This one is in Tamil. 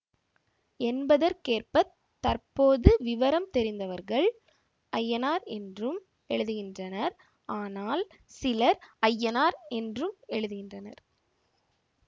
என்பதற்கேற்பத் தற்போது விவரம் தெரிந்தவர்கள் ஐயனார் என்றும் எழுதுகின்றனர் ஆனால் சிலர் அய்யனார் என்றும் எழுதுகின்றனர்